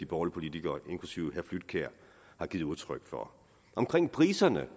politikere inklusive herre flydtkjær har givet udtryk for omkring priserne